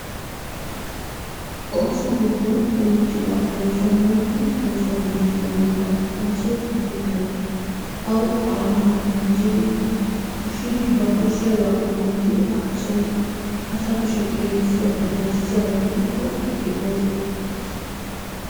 Osso giddon giti bawaa, oosonni gutti oosonni gitti bawaa, osso ubika gittaa, awu awaa na'aa mizidi ushidi ba koshiyabaa kunttidi aa a soonni asaa kushshee xelisenanni ayssiyaba gidiko hegee osoo gettettees.